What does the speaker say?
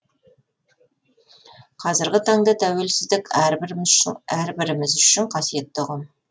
қазіргі таңда тәуелсіздік әрбіріміз үшін қасиетті ұғым